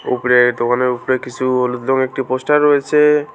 উপরে দোকানের উপরে কিছু হলুদ রঙের একটি পোস্টার রয়েছে।